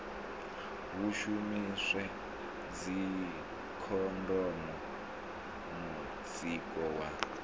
hu shumiswe dzikhondomu mutsiko wa